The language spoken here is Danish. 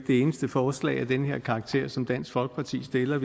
det eneste forslag af den her karakter som dansk folkeparti stiller